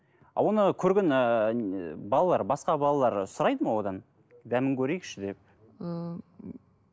оны көрген ііі балалар басқа балалар сұрайды ма одан дәмін көрейікші деп ііі